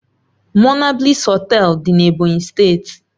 Monabliss Họtelu dị na Ebonyi steeti